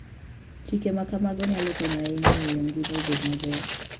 Chike ma kamago nyalo konyo ahinya e miyo ngima obed maber.